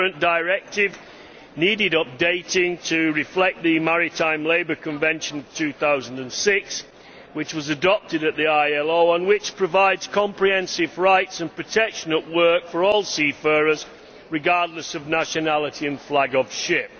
The current directive needed updating to reflect the Maritime Labour Convention of 2006, which was adopted by the International Labour Organization and which provides comprehensive rights and protection at work for all seafarers, regardless of nationality and flag of ship.